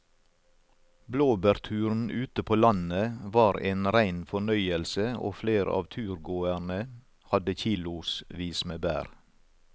Blåbærturen ute på landet var en rein fornøyelse og flere av turgåerene hadde kilosvis med bær.